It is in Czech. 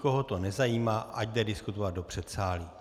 Koho to nezajímá, ať jde diskutovat do předsálí.